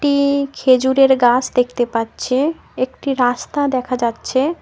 একটি খেজুরের গাস দেখতে পাচ্ছে একটি রাস্তা দেখা যাচ্ছে।